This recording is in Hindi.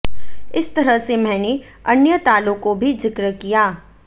इस तरह से मैंने अन्य तालों को भी जिक्र किया